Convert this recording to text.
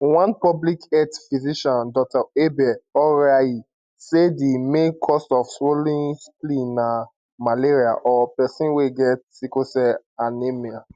one public health physician dr abel oriahi say di main cause of swollen spleen na malaria or pesin wey get sickle cell anaemia